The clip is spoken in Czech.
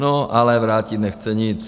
No, ale vrátit nechce nic.